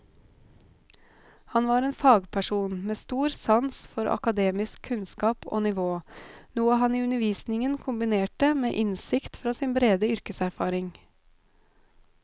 Han var en fagperson med stor sans for akademisk kunnskap og nivå, noe han i undervisningen kombinerte med innsikt fra sin brede yrkeserfaring.